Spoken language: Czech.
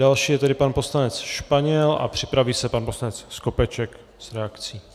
Další je tedy pan poslanec Španěl a připraví se pan poslanec Skopeček s reakcí.